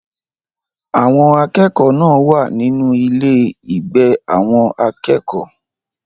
Àwọn akẹ́kọ̀ọ́ náà wà nínú ilé-ìgbé àwọn akẹ́kọ̀ọ́.